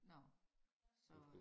Nå så øh